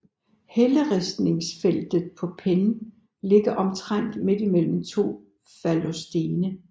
Helleristningsfeltet på Penne ligger omtrent midt mellem to fallosstene